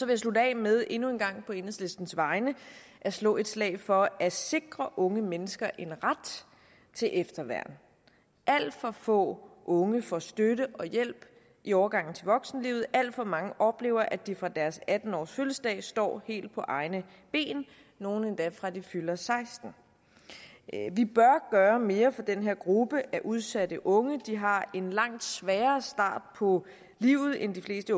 jeg slutte af med endnu en gang på enhedslistens vegne at slå et slag for at sikre unge mennesker en ret til efterværn alt for få unge får støtte og hjælp i overgangen til voksenlivet alt for mange oplever at de fra deres atten årsfødselsdag står helt på egne ben nogle endda fra de fylder sekstende vi bør gøre mere for den her gruppe af udsatte unge de har en langt sværere start på livet end de fleste